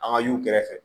An ka y'u kɛrɛfɛ